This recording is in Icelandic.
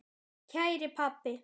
Kæri pabbi.